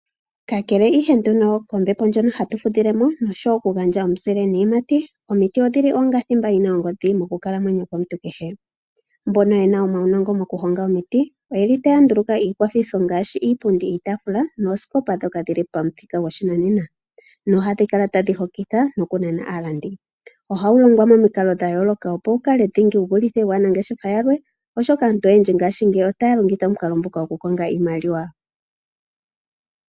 Kakele ihe nduno kombepo ndjono hatu fudhilemo noshowoo okugandja omuzile niiyamati, omiti odhili onga thimba yina ongodhi mokukalamwenyo komuntu kehe. Mbono yena omaunongo mokuhonga omiti oyeli taya nduluka iikwathitho ngaashi iipundi, iitaafula noosikopa ndhoka dhili pamuthika goshinanena nohadhi kala tadhi hokitha nokunana aalandi . Oha yi longwa momikalo dhayooloka opo dhikale aanangeshefa yalwe oshoka aantu oyendji mongashingeyi otaya longitha omukalo gokukonga iimaliwa.